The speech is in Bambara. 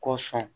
Ko sɔn